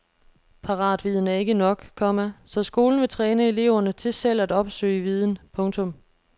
Paratviden er ikke nok, komma så skolen vil træne eleverne til selv at opsøge viden. punktum